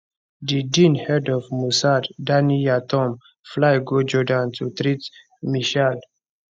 di den head of mossad danny yatom fly go jordan to treat meshaal